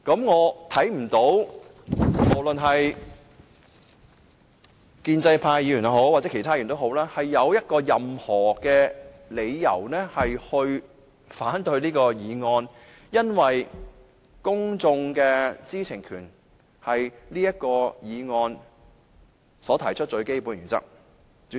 我不認為建制派議員或其他議員有任何理由可反對這項議案，因為此議案建基於公眾知情權這項最基本的原則。